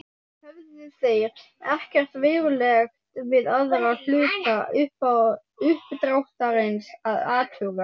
Höfðu þeir ekkert verulegt við aðra hluta uppdráttarins að athuga.